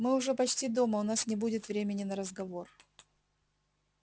мы уже почти дома у нас не будет времени на разговор